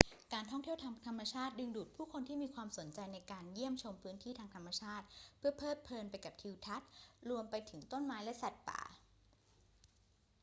การท่องเที่ยวทางธรรมชาติดึงดูดผู้คนที่มีความสนใจในการเยี่ยมชมพื้นที่ทางธรรมชาติเพื่อเพลิดเพลินไปกับทิวทัศน์ รวมไปถึงต้นไม้และสัตว์ป่า